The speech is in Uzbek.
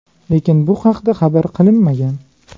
Lekin bu haqda xabar qilinmagan.